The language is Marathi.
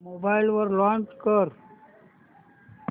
मोबाईल वर लॉंच कर